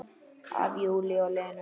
Af Júlíu og Lenu.